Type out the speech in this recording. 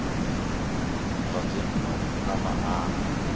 zwa dzinnu u na maana